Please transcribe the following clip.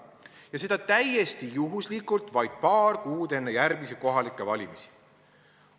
Ja seda täiesti juhuslikult vaid paar kuud enne järgmisi kohalikke valimisi.